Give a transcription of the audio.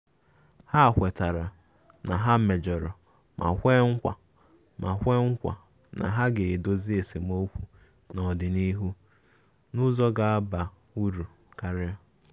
Ha kwetara na ha mejọrọ ma kwe nkwa ma kwe nkwa na ha ga-edozi esemokwu n'ọdịnịhu n'ụzọ ga-aba uru karia.